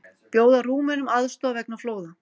Bjóða Rúmenum aðstoð vegna flóða